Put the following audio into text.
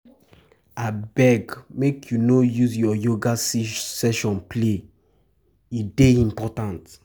Abeg, make you no use your yoga session play, e dey important.